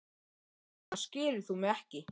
Þess vegna skilur þú mig ekki.